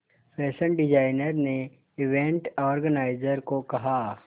fashion designer ने event organiser को कहा